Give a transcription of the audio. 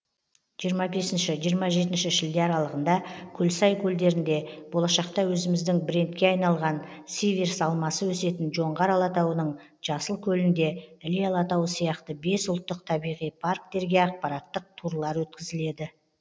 жиырма бесінші жиырма жетінші шілде аралығында көлсай көлдерінде болашақта өзіміздің брендке айналған сиверс алмасы өсетін жоңғар алатауының жасылкөлінде іле алатауы сияқты бес ұлттық табиғи парктерге ақпараттық турлар өткізіледі